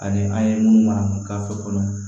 Ani an ye minnu mara k'a fɔ fɔlɔ